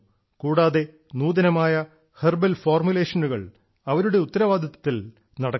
കൂടാതെ നൂതനമായ ഹെർബൽ ഫോർമുലേഷനുകൾ അവരുടെ ഉത്തരവാദിത്തത്തിൽ നടക്കുന്നു